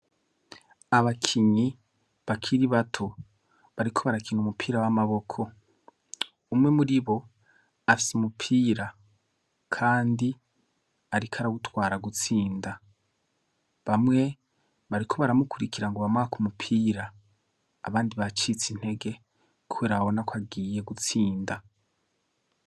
Abakinyi bakiri bato bariko barakina umupira w'amaboko umwe muri bo afye umupira, kandi, ariko aragutwara gutsinda bamwe bariko baramukurikira ngo ubamaka umupira abandi bacitse intege k abona ko agiye gutsinda.